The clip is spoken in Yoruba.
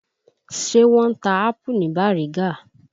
Ṣé wọ́n ń ta ápù ní Bàrígá?